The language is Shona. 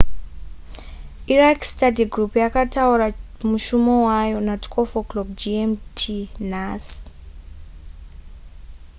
iraq study group yakataura mushumo wayo na12.00 gmt nhasi